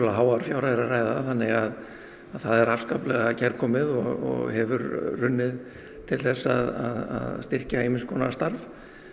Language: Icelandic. háar fjárhæðir að ræða þannig að það er afskaplega kærkomið og hefur runnið til þess að styrkja ýmis konar starf